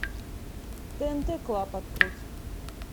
тнт клаб открыть